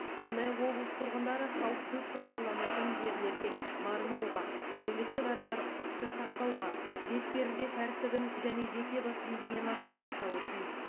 сондай ақ облыс тұрғындары халық көп шоғырланатын жерлерге бармауға әлеуметтік арақашықтықты сақтауға бетперде тәртібін және жеке бас гигиенасын сақтауы тиіс